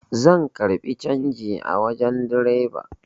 Zan karbi canji a wajen direba